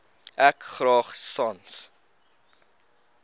ek graag sans